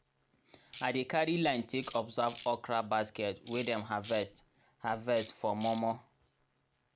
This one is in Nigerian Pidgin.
i dey carry line take observe okra basket wey dem harvest harvest for mor mor.